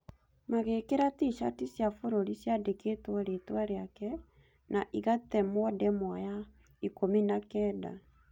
Magĩĩkĩra T-shati cia bũrũri ciandĩkĩtwo rĩtwa rĩake na igatemwo ndemwa ya ikùmi na kenda